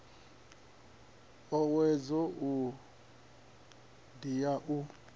owedzo iyi ndi ya u